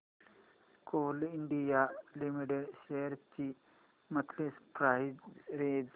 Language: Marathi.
कोल इंडिया लिमिटेड शेअर्स ची मंथली प्राइस रेंज